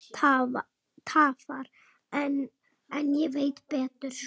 En ég veit betur.